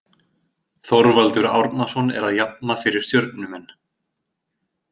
Þorvaldur Árnason er að jafna fyrir stjörnumenn.